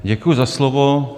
Děkuji za slovo.